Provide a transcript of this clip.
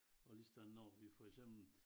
Og lige sådan når vi for eksempel